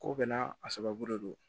K'o bɛɛ n'a a sababu de don